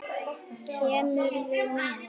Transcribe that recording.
Kemurðu með?